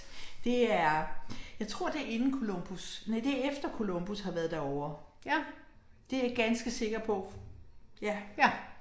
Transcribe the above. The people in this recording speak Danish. Det er jeg tror det er inden Columbus, næ det efter Columbus har været derovre. Det jeg ganske sikker på. Ja